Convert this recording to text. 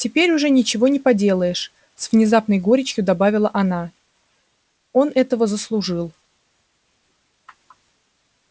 теперь уже ничего не поделаешь с внезапной горечью добавила она он этого заслужил